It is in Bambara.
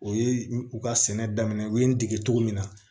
O ye u ka sɛnɛ daminɛ u ye n dege cogo min na